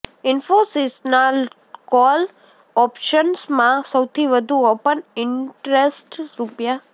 ઇન્ફોસિસના call ઓપ્શન્સમાં સૌથી વધુ ઓપન ઇન્ટરેસ્ટ રૂ